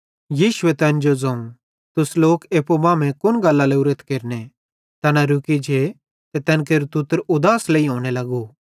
यीशुए तैन जो ज़ोवं तुस लोक एप्पू मांमेइं कुन गल्लां केरने लोरेथ तैना रुकी जे ते तैन केरू तुतर उदास लेइहोने लग्गू